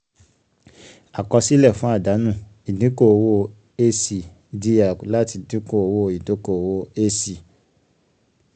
àkọsílẹ̀ fún àdánù: ìdínkùn owó a c dr láti dínkù owó ìdókòwò ac